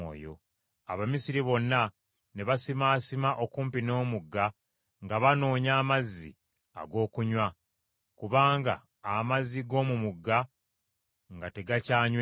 Abamisiri bonna ne basimaasima okumpi n’omugga nga banoonya amazzi ag’okunywa, kubanga amazzi g’omu mugga nga tegakyanyweka.